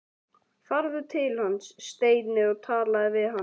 Farðu til hans, Steini, og talaðu við hann!